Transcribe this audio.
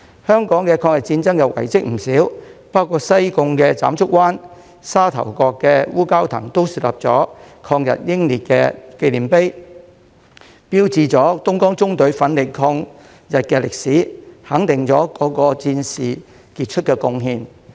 香港抗日戰爭遺蹟不少，包括西貢斬竹灣、沙頭角烏蛟騰也豎立了抗日英烈紀念碑，標誌着東江縱隊奮力抗日的歷史，肯定了各位戰士的傑出貢獻。